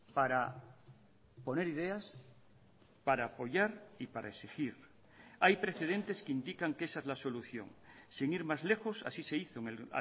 para poner ideas para apoyar y para exigir hay precedentes que indican que esa es la solución sin ir más lejos así se hizo en el